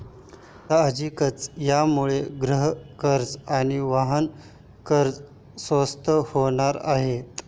साहजिकच यामुळे गृहकर्ज आणि वाहन कर्ज स्वस्त होणार आहेत.